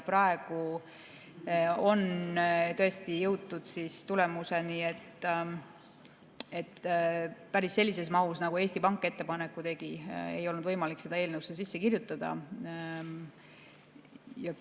Praegu on tõesti jõutud tulemuseni, et päris sellises mahus, nagu Eesti Pank ettepaneku tegi, ei olnud võimalik seda eelnõusse sisse kirjutada.